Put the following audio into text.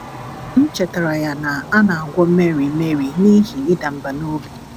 M chetaara ya na a na - agwọ Mary Mary n’ihi ịda mbà n’obi.